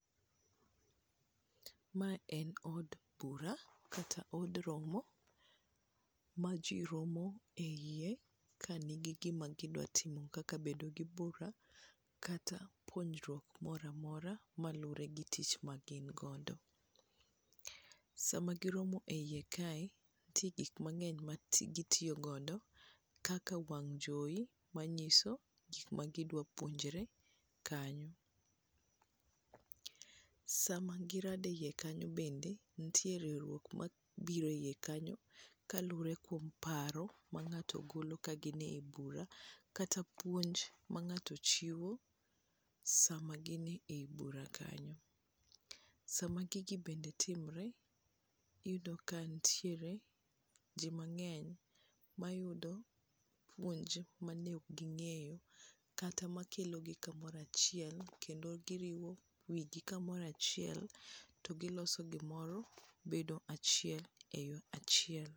Mae en od bura kata od romo ma ji romo e iye, kka nigi gima gidwa timo kaka bedo gi bura kata puonjruok mora mora malure gi tich magin godo. Sama giromo e iye kae, nitie gik mang'eny magitiyo godo kaka wang' jowi manyiso gik magidwa puonjre kanyo. Sama girado e iye kanyo bende, nitie riwruok mabiro e iye kanyo kalure kuom paro ma ng'ato golo kagin e bura kata puonj ma ng'ato chiwo sama gin e bura kanyo. Sama gigi bende timre, iyudo ka nitiere ji mang'eny mayudo puonj mane ok ging'eyo kata makelo gi kamoro achiel kendo giriwo wigi kamoro achiel to giloso gimoro bedo achiel e yo achiel.